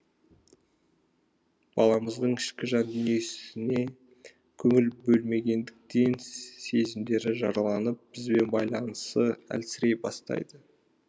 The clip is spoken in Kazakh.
баламыздың ішкі жан дүниесіне көңіл бөлмегендіктен сезімдері жараланып бізбен байланысы әлсірей бастайды